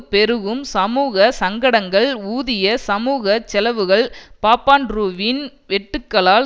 பெருகும் சமூக சங்கடங்கள் ஊதிய சமூக செலவுகள் பாப்பாண்ட்ரூவின் வெட்டுக்களால்